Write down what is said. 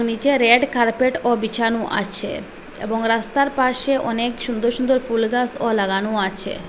নীচে রেড কার্পেটও বিছানো আছে এবং রাস্তার পাশে অনেক সুন্দর সুন্দর ফুলগাছও লাগানো আছে।